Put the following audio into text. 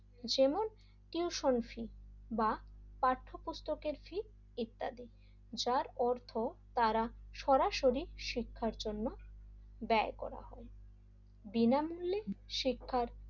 যেমন tuition fee বা পাঠ্য পুস্তকের ফী ইত্যাদি যার অর্থ তারা সরাসরি শিক্ষার জন্য ব্যয় করা হয় বিনামূল্যে শিক্ষার,